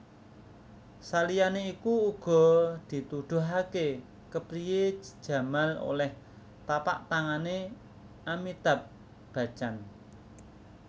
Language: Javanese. Saliyané iku uga dituduhaké kepriyé Jamal olèh tapaktangané Amitabh Bachchan